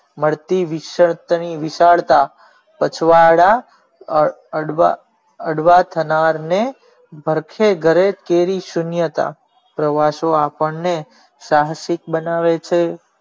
મળતી વિશાળતા પછવાડા અડવા સ્માર ને ભરખે ગાલે તેવી સુનીયતા પ્રવાસો આપણે સાહસિક બનાવે છે.